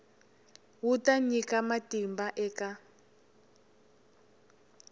wu ta nyika matimba eka